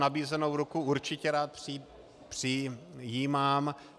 Nabízenou ruku určitě rád přijímám.